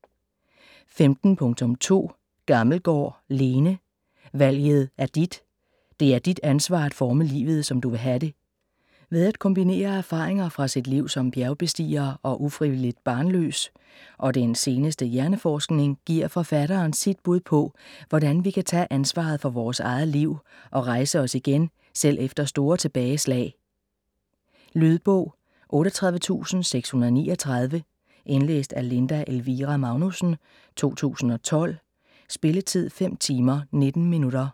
15.2 Gammelgaard, Lene: Valget er dit!: det er dit ansvar at forme livet, som du vil have det Ved at kombinere erfaringer fra sit liv som bjergbestiger og ufrivilligt barnløs og den seneste hjerneforskning giver forfatteren sit bud på, hvordan vi kan tage ansvaret for vores eget liv og rejse os igen, selv efter store tilbageslag. Lydbog 38639 Indlæst af Linda Elvira Magnussen, 2012. Spilletid: 5 timer, 19 minutter.